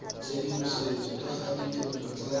tshedimosetso ka ga ditirelo tsa